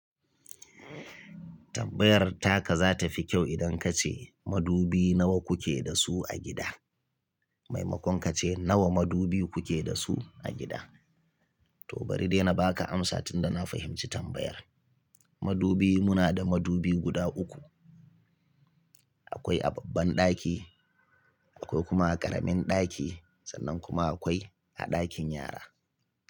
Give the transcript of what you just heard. Tambayar taka za ta fi kyau idan ka ce, "Madubi nawa kuke da su a gida?" maimakon ka ce, "Nawa madubi kuke da su a gida?" To bari dai na ba ka amsa tunda na fahimci tambayar. Madubi muna da madubi guda uku. Akwai a babban ɗaki, akwai kuma a ƙaramin ɗaki sannan kuma akwai a ɗakin yara.